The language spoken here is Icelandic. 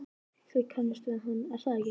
Þið kannist við hann, er það ekki?